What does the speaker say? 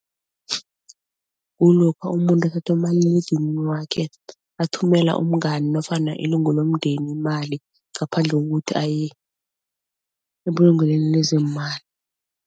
Kulokha umuntu umaliledinini wakhe athumela umngani nofana ilungu lomndeni imali ngaphandle kokuthi aye ebulungelweni lezeemali.